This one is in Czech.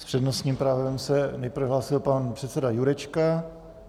S přednostním právem se nejprve hlásil pan předseda Jurečka.